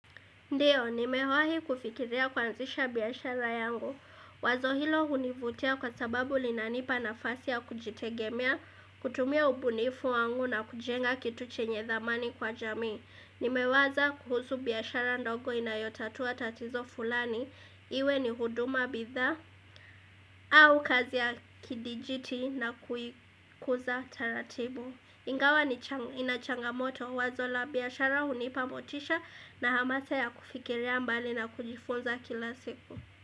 Ndiyo, nimewahi kufikiria kuanzisha biashara yangu. Wazo hilo hunivutia kwa sababu linanipa nafasi ya kujitegemea, kutumia ubunifu wangu na kujenga kitu chenye thamani kwa jamii. Nimewaza kuhusu biashara ndogo inayotatua tatizo fulani. Iwe ni huduma bidhaa au kazi ya kidijiti na kuikuza taratibu. Ingawa ni inachangamoto wazo la biashara hunipa motisha na hamasa ya kufikiria mbali na kujifunza kila siku.